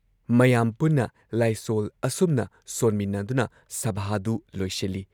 ꯃꯌꯥꯝ ꯄꯨꯟꯅ ꯂꯥꯏꯁꯣꯜ ꯑꯁꯨꯝꯅ ꯁꯣꯟꯃꯤꯟꯅꯗꯨꯅ ꯁꯚꯥꯗꯨ ꯂꯣꯏꯁꯤꯜꯂꯤ ꯫